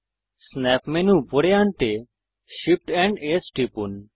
snap menu উপরে আনতে Shift amp S টিপুন